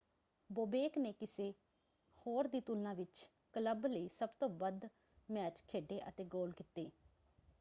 Bobek ਨੇ ਕਿਸੇ ਹੋਰ ਦੀ ਤੁਲਨਾ ਵਿੱਚ ਕਲੱਬ ਲਈ ਸਭ ਤੋਂ ਵੱਧ ਮੈਚ ਖੇਡੇ ਅਤੇ ਗੋਲ ਕੀਤੇ।